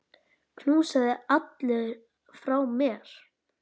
Knúsaðu alla frá mér.